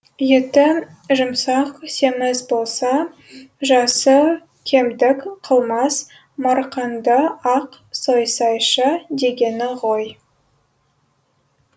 еті жұмсақ семіз болса жасы кемдік қылмас марқаңды ақ сойсайшы дегені ғой